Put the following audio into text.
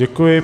Děkuji.